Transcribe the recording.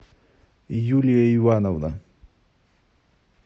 юлия ивановна